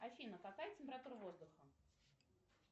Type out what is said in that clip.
афина какая температура воздуха